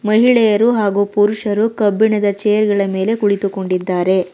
ಮಹಿಳೆಯರು ಹಾಗು ಪುರುಷರು ಕಬ್ಬಿಣದ ಚೇರ್ ಗಳ ಮೇಲೆ ಕುಳಿತುಕೊಂಡಿದ್ದಾರೆ.